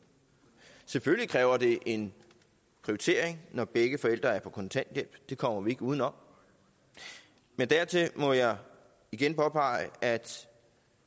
selvfølgelig kræver det en prioritering når begge forældre er på kontanthjælp det kommer vi ikke udenom men dertil må jeg igen påpege at